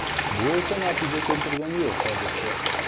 Bu esa natija keltirgani yo‘q hozircha.